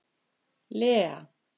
Lea